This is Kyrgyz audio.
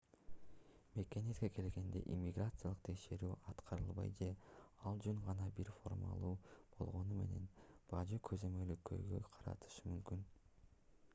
мекениңизге келгенде иммиграциялык текшерүү аткарылбай же ал жөн гана бир формалдуулук болгону менен бажы көзөмөлү көйгөй жаратышы мүмкүн